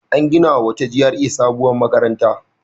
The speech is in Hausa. An ginawa wata GRA sabuwar makaranta.